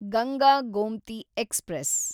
Ganga Gomti express